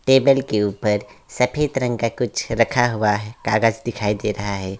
Table के ऊपर सफ़ेद रंग का कुछ रखा हुआ है कागज दिखाई दे रहा है।